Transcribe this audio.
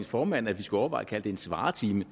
formand at vi skulle overveje at kalde det en svaretime